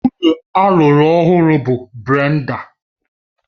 Nwunye alụru ọhụrụ bụ Brenda